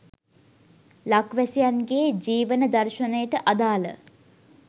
ලක්වැසියන් ගේ ජීවන දර්ශනයට අදාළ